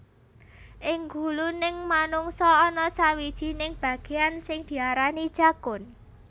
Ing guluning manungsa ana sawijining bagéan sing diarani jakun